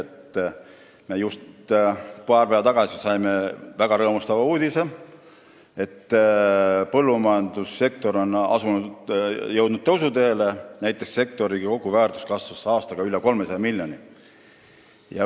Me saime just paar päeva tagasi väga rõõmustava uudise, et põllumajandussektor on tõusuteel, näiteks kasvas sektori koguväärtus aastaga üle 300 miljoni.